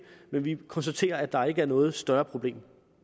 og vi konstaterer at der ikke er noget større problem